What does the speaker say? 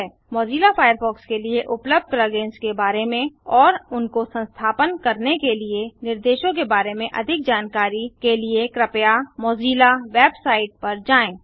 Mozilla Firefox के लिए उपलब्ध plug इन्स के बारे में और उनको संस्थापन करने के लिए निर्देशों के बारे में अधिक जानने के लिए कृपया मोजिल्ला वेबसाइट पर जाएँ